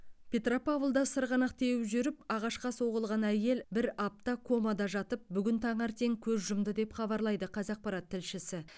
петропавлда сырғанақ теуіп жүріп ағашқа соғылған әйел бір апта комада жатып бүгін таңертең көз жұмды деп хабарлайды қазақпарат тілшісі